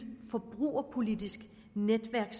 forbrugerpolitisk netværk